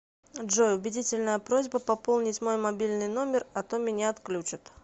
джой убедительная просьба пополнить мой мобильный номер а то меня отключат